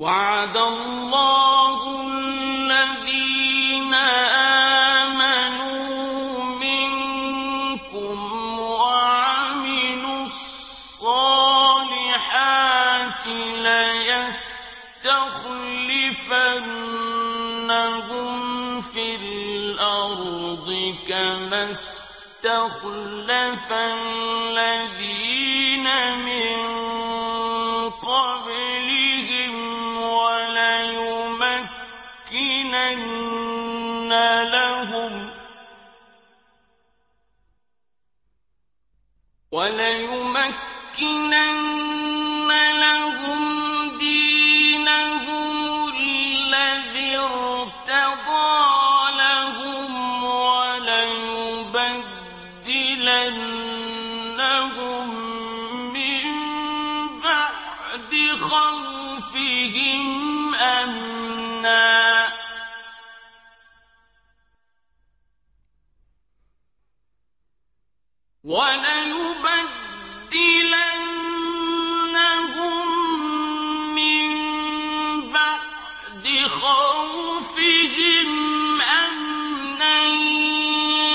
وَعَدَ اللَّهُ الَّذِينَ آمَنُوا مِنكُمْ وَعَمِلُوا الصَّالِحَاتِ لَيَسْتَخْلِفَنَّهُمْ فِي الْأَرْضِ كَمَا اسْتَخْلَفَ الَّذِينَ مِن قَبْلِهِمْ وَلَيُمَكِّنَنَّ لَهُمْ دِينَهُمُ الَّذِي ارْتَضَىٰ لَهُمْ وَلَيُبَدِّلَنَّهُم مِّن بَعْدِ خَوْفِهِمْ أَمْنًا ۚ